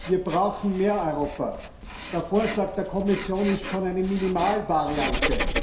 Wir brauchen mehr Europa. Der Vorschlag der Kommission ist schon eine Minimalvariante.